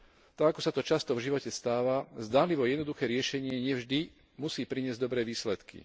Tak, ako sa často v živote stáva, zdanlivo jednoduché riešenie nie vždy musí priniesť dobré výsledky.